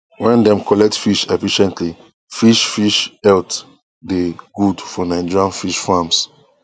wen dem collect fish effectively fish fish health dey good for nigerian fish farms